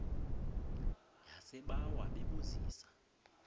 yasebawa bebu zisa